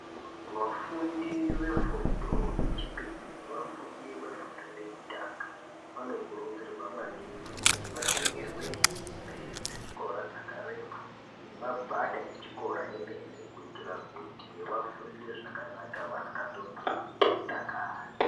Vafundi vefundo yechipiri nevafundi vefundo yekutanga. Vanokurudzirwa maningi kuti vatengerwe hembe dzechikora dzakareba nemagwada echikora emene. Kuitira kuti vafunde zvakanaka vasikatonhorwi veidakara.